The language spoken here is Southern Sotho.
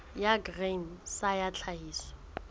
ya grain sa ya tlhahiso